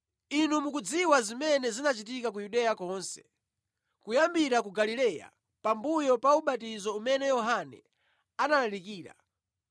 Inu mukudziwa zimene zinachitika ku Yudeya konse, kuyambira ku Galileya pambuyo pa ubatizo umene Yohane analalikira,